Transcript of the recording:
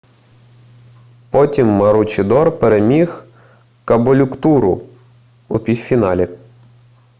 потім маручідор переміг каболюктуру у півфіналі